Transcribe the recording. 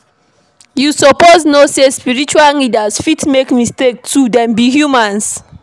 You suppose know sey spiritual leaders fit make mistake too, dem be humans.